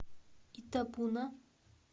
итабуна